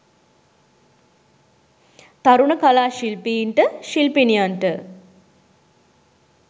තරුණ කලා ශිල්පීන්ට ශිල්පිණියන්ට